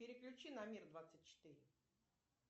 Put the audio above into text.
переключи на мир двадцать четыре